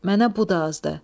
Mənə bu da azdır.